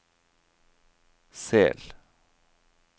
Sel